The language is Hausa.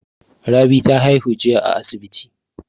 Rabi ta haihu jiya a asibi.